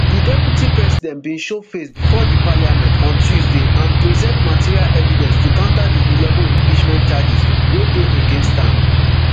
di deputy president bin show face bifor di parliament on tuesday and present material evidence to counter di eleven impeachment charges wey dey against am.